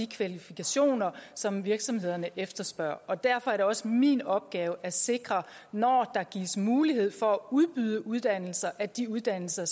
kvalifikationer som virksomhederne efterspørger derfor er det også min opgave at sikre når der gives mulighed for at udbyde uddannelser at de uddannelser